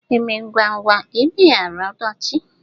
Eme ngwa ngwa emeghara ọdachị